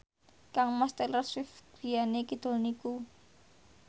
kangmas Taylor Swift griyane kidul niku